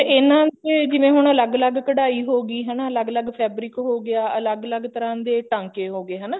ਇਹਨਾ ਦੇ ਜਿਵੇਂ ਹੁਣ ਅੱਲਗ ਅੱਲਗ ਕਢਾਈ ਹੋਊਗੀ ਹਨਾ ਅੱਲਗ ਅੱਲਗ fabric ਹੋ ਗਿਆ ਅੱਲਗ ਅੱਲਗ ਤਰ੍ਹਾਂ ਦੇ ਟਾਂਕੇ ਹੋ ਗਏ ਹਨਾ